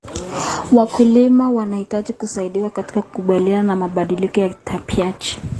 Wakulima wanahitaji kusaidiwa katika kukabiliana na mabadiliko ya tabianchi.